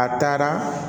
A taara